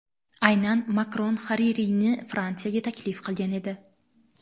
Aynan Makron Haririyni Fransiyaga taklif qilgan edi.